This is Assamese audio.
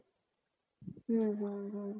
হুম হুম হুম